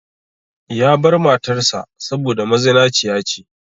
Ya bar matar sa saboda mazinaciya ce.